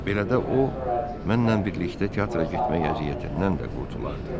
Belə də o, mənlə birlikdə teatra getməyə əziyyətindən də qurtulardı.